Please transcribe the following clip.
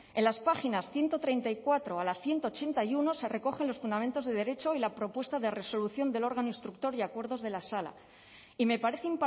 en las páginas ciento treinta y cuatro a la ciento ochenta y uno se recogen los fundamentos de derecho y la propuesta de resolución del órgano instructor y acuerdos de la sala y me parece